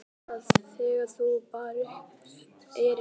Hann var hissa þegar hún bar upp erindið.